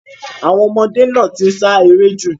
Àwọn ọmọdé náà ti ń ṣe eré jù.